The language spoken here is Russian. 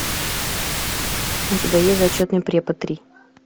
у тебя есть зачетный препод три